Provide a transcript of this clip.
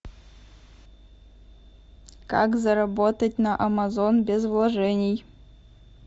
как заработать на амазон без вложений